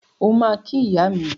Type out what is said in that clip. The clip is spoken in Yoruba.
O ma ki iya mi.